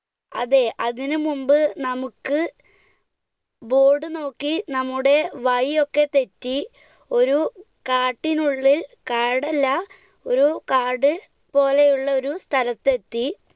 അതെ, അതിനുമുൻപ് നമുക്ക് board നോക്കി നമ്മുടെ വഴിയൊക്കെ തെറ്റി, ഒരു കാട്ടിനുള്ളിൽ കാടല്ല, ഒരു കാട് പോലെയുള്ള ഒരു സ്ഥലത്ത് എത്തി.